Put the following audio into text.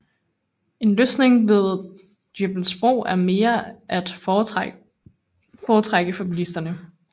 En løsning ved Dybbølsbro er mere at foretrække for bilisterne